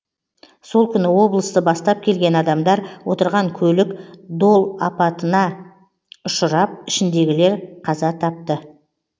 сол күні облысты бастап келген адамдар отырған көлік дол апатына ұшрап ішіндегілер қаза тапты